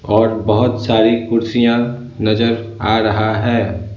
और बहुत सारी कुर्सियां नजर आ रहा है।